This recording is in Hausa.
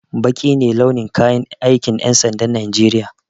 Baƙi ne launin kayan aikin ƴan sandan najeriya